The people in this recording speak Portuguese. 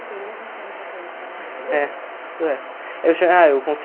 Tem um monte de história para contar. É, isso é, eu tinha ah eu